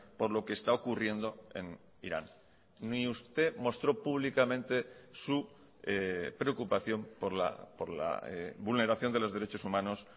por lo que está ocurriendo en irán ni usted mostró públicamente su preocupación por la vulneración de los derechos humanos